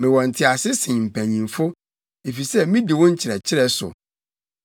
Mewɔ ntease sen mpanyimfo, efisɛ midi wo nkyerɛkyerɛ so.